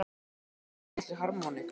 Og spila á litlu harmónikkuna sína?